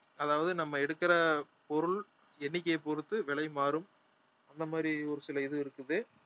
அதாவது நம்ம எடுக்கிற பொருள் எண்ணிக்கையைப் பொறுத்து விலை மாறும் அந்த மாதிரி ஒரு சில இது இருக்குது